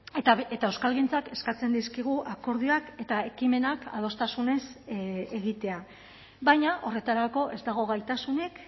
eta euskalgintzak eskatzen dizkigu akordioak eta ekimenak adostasunez egitea baina horretarako ez dago gaitasunik